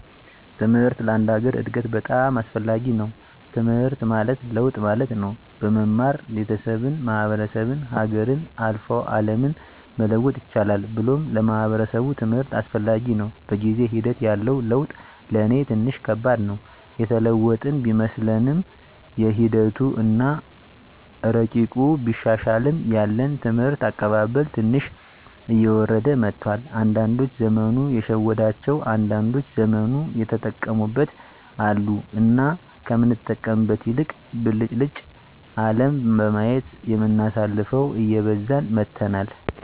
ትምሕርት ለአንድ ሀገር እድገት በጣም አስፈላጊ ነዉ። ትምሕርት ማለት ለውጥ ማለት ነው። በመማር ቤተሠብን፣ ማሕበረሰብን፣ ሀገርን፣ አልፎ አለምን መለወጥ ይቻላል ብሎም ለማሕበረሰቡ ትምህርት አስፈላጊ ነው። በጊዜ ሒደት ያለው ለውጥ ለኔ ትንሽ ከባድ ነው። የተለወጥን ቢመስለንምሒደቱ አና እረቂቁ ቢሻሻልም ያለን የትምህርት አቀባበል ትንሽ እየወረደ መጥቷል። አንዳዶች ዘመኑ የሸወዳቸው አንዳንዶች ዘመኑን የተጠቀሙበት አሉ። እና ከምንጠቀምበት ይልቅ ብልጭልጭ አለም በማየት የምናሳልፈው እየበዛን መጥተናል።